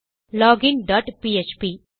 login dot PHP